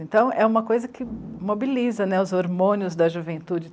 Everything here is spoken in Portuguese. Então, é uma coisa que mobiliza né, os hormônios da juventude.